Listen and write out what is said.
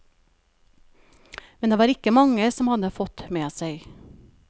Men det var det ikke mange som hadde fått med seg.